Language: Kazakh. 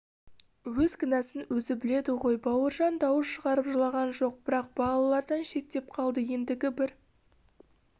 өз кінәсін өзі біледі ғой бауыржан дауыс шығарып жылаған жоқ бірақ балалардан шеттеп қалды ендігі бір